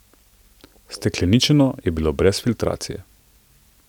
Stekleničeno je bilo brez filtracije.